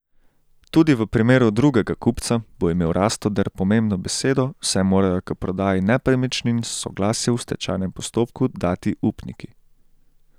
Tudi v primeru drugega kupca bo imel Rastoder pomembno besedo, saj morajo k prodaji nepremičnin soglasje v stečajnem postopku dati upniki.